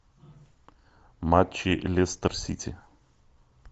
матчи лестер сити